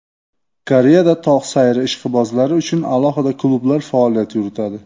Koreyada tog‘ sayri ishqibozlari uchun alohida klublar faoliyat yuritadi.